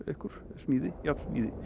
smíði járnsmíði